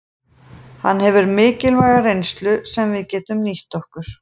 Hann hefur mikilvæga reynslu sem við getum nýtt okkur.